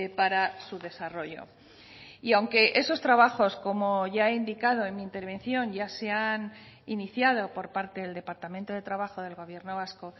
para su desarrollo y aunque esos trabajos como ya he indicado en mi intervención ya se han iniciado por parte del departamento de trabajo del gobierno vasco